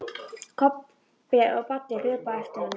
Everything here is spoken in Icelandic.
Kobbi og Baddi hlupu á eftir honum.